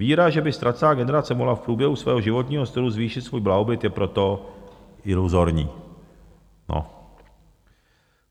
Víra, že by ztracená generace mohla v průběhu svého životního stylu zvýšit svůj blahobyt, je proto iluzorní.